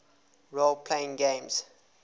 role playing games